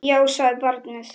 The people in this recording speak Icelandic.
Já, sagði barnið.